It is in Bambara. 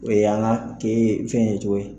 O ye an ka ke fɛn ye cogo ye